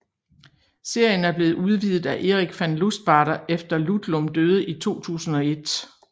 Serien er blevet udvidet af Eric Van Lustbader efter Ludlum døde i 2001